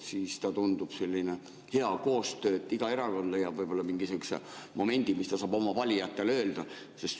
Siis ta tundub selline hea koostöö, iga erakond leiab mingisuguse momendi, mis ta saab oma valijatele öelda.